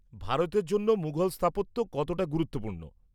-ভারতের জন্য মুঘল স্থাপত্য কতটা গুরুত্বপূর্ণ?